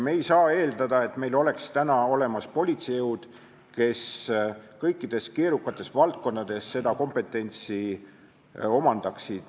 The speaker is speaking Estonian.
Me ei saa eeldada, et meil oleks olemas politseijõud, kes kõikides keerukates valdkondades kompetentsi omandaksid.